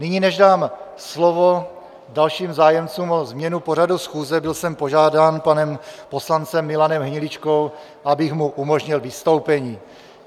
Nyní, než dám slovo dalším zájemcům o změnu pořadu schůze, jsem byl požádán panem poslancem Milanem Hniličkou, abych mu umožnil vystoupení.